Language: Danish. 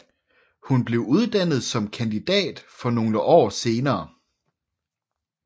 Hun blev uddannet som kandidat nogle år senere